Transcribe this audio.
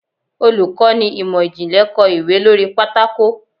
Olukọni imọ-jinlẹ kọ ìwé lori pàtàkó